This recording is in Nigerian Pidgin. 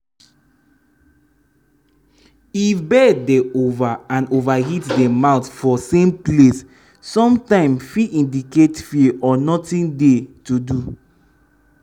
if bird dey over and over hit dem mouth for same place sometim fit indicate fear or nothing dey to do